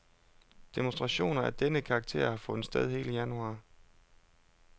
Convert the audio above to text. Demonstrationer af denne karakter har fundet sted hele januar.